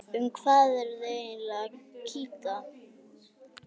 Um hvað eruð þið eiginlega að kýta?